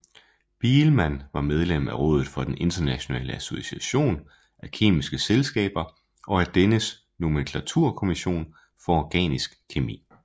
Biilmann var medlem af rådet for den internationale association af kemiske selskaber og af dennes nomenklaturkommission for organisk kemi